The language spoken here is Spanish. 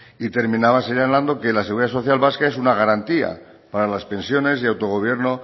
y terminaba señalando que la seguridad social vasca es una garantía para las pensiones y autogobierno